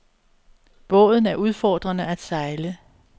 Båden er udfordrende at sejle.